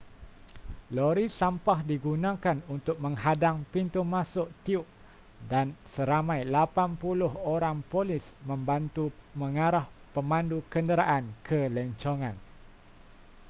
lori sampah digunakan untuk menghadang pintu masuk tiub dan seramai 80 orang polis membantu mengarah pemandu kenderaan ke lencongan